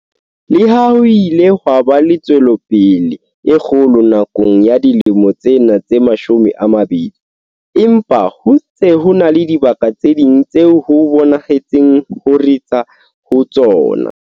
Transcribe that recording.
Le ha ho ile ha ba le tswelopele e kgolo nakong ya dilemo tsena tse mashome a mabedi, empa ho ntse ho na le dibaka tse ding tseo ho bonahetseng ho ritsa ho tsona.